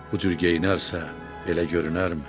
Bu cür geyinərsə, belə görünərmi?